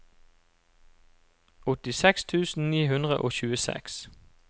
åttiseks tusen ni hundre og tjueseks